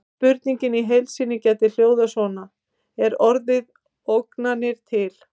Spurningin í heild sinni hljóðaði svona: Er orðið ógnanir til?